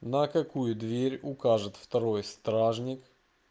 на какую дверь укажет второй стражник